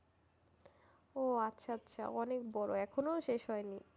ও আচ্ছা আচ্ছা অনেক বড় এখনো শেষ হয়নি?